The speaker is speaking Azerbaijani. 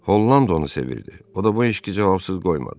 Holland onu sevirdi, o da bu eşqi cavabsız qoymadı.